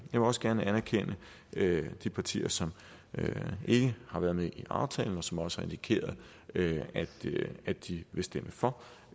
vil også gerne anerkende de partier som ikke har været med i aftalen og som også har indikeret at de vil stemme for